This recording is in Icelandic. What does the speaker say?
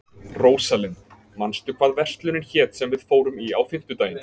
Rósalind, manstu hvað verslunin hét sem við fórum í á fimmtudaginn?